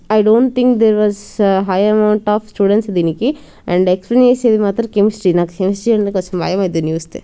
I don't think there was high amount of students దీనికి and explain మాత్రం chemistry నాకు chemistry అంటే కొంచెం భయం వేస్తది దాన్ని చూస్తే.